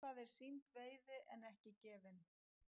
Eitthvað er sýnd veiði en ekki gefin